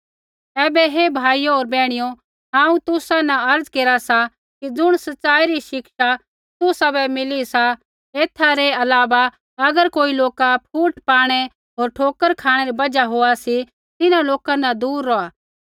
ऐबै हे भाइयो होर बैहणियो हांऊँ तुसा न अर्ज़ा केरा सा कि ज़ुण सचाई री शिक्षा तुसाबै मिली सा एथा न अलावा अगर कोई लोका फुट पाणै होर ठोकर खाँणै री बजहा होआ सी तिन्हां लोका न साबधान रौहा होर तिन्हां लोका न दूर रौहा